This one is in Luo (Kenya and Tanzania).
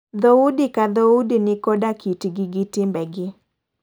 Dhoudi ka dhoudi ni koda kit gi gi timbe gi.